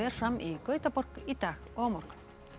fram í Gautaborg í dag og á morgun